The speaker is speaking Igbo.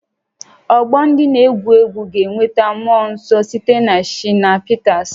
Ọgbọ ndị na-egwu egwu ga-enweta mmụọ nsọ site na Shina Peters